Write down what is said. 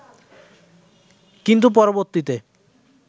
কিন্তু পরবর্তীতে